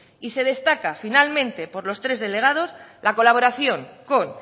y se destaca finalmente por los tres delegados la colaboración con